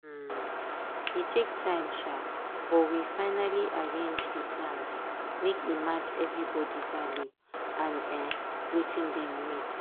um e take time um but we finally arrange dey plans make e match everybody value and um wetin dem need.